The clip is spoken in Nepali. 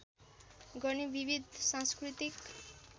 गर्ने विविध सांस्कृतिक